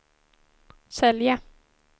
sälja